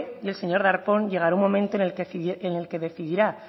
y el señor darpón llegará un momento en el que decidirá